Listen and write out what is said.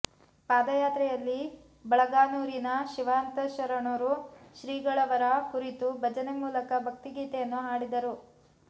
ಪಾದಯಾತ್ರೆಯಲ್ಲಿ ಬಳಗಾನೂರಿನ ಶಿವಶಾಂತಶರಣರು ಶ್ರೀಗಳವರ ಕುರಿತು ಭಜನೆ ಮೂಲಕ ಭಕ್ತಿಗೀತೆಯನ್ನು ಹಾಡಿದರು